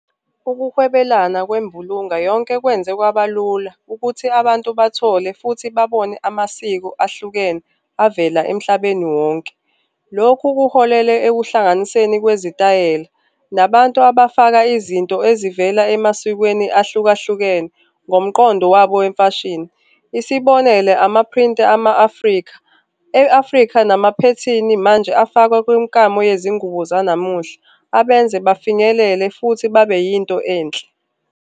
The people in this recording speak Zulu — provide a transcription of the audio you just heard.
Ukuhwebelana kwembulunga yonke kwenze kwabalula ukuthi abantu bathole futhi babone amasiko ahlukene avela emhlabeni wonke. Lokhu kuholele ekuhlanganiseni kwezitayela, nabantu abafaka izinto ezivela emasikweni ahlukahlukene ngomqondo wabo wemfashini. Isibonele, ama-print-i ama-Afrika, e-Afrika namaphethini manje afakwa kwimikamo yezingubo zanamuhla abenze bafinyelele futhi babe yinto enhle.